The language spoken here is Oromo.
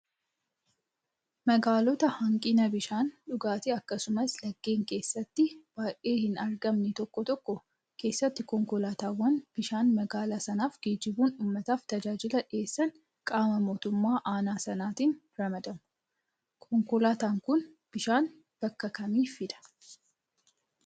Magaalota hanqina bishaan dhugaatii akkasumas laggeen keessatti baay'ee hin argamne tokko tokko keessatti konkolaataawwan bishaan magaalaa sanaaf geejjibuun uummataaf tajaajia dhiyeessan qaama mootummaa aanaa sanaatiin ramadamu. Konkolaataan kun bishaan bakka kamii fidaa?